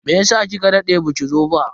Meyasa kika dade baki zo ba?